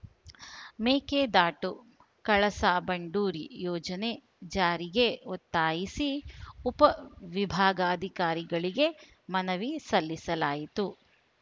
ಮೇಕೆದಾಟು ಕಳಸಾ ಬಂಡೂರಿ ಯೋಜನೆ ಜಾರಿಗೆ ಒತ್ತಾಯಿಸಿ ಉಪ ವಿಭಾಗಾಧಿಕಾರಿಗಳಿಗೆ ಮನವಿ ಸಲ್ಲಿಸಲಾಯಿತು